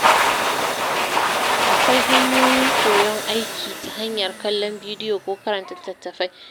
Akwai hanyoyin koyon aiki ta hanyar kallon bidiyo ko karanta litattafai.